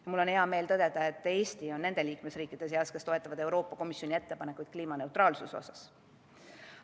Ja mul on hea meel tõdeda, et Eesti on nende liikmesriikide seas, kes toetavad Euroopa Komisjoni ettepanekuid kliimaneutraalsuse vallas.